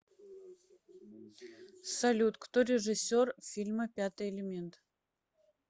салют кто режиссер фильма пятый элемент